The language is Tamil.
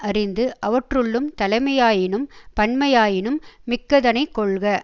அறிந்து அவற்றுள்ளும் தலைமையாயினும் பன்மையாயினும் மிக்கதனைக் கொள்க